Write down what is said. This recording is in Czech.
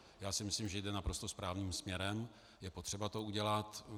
Já si myslím, že jde naprosto správným směrem, je potřeba to udělat.